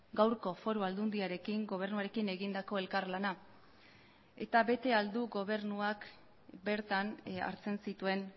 gaurko foru aldundiarekin gobernuarekin egindako elkarlana eta bete ahal du gobernuak bertan hartzen zituen